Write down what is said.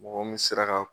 Mɔgɔ mun sera ka